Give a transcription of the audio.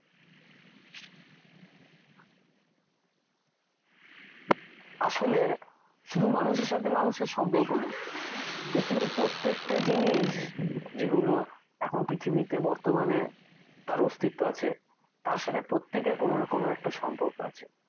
আসলে শুধু মানুষের সাথে মানুষের সম্পর্ক না পৃথিবীর প্রত্যেকটা জিনিস যেগুলো এখন পৃথিবীতে বর্তমানে তার অস্তিত্ব তার সাথে প্রত্যেকের কোনো না একটা কোনো সম্পর্ক আছে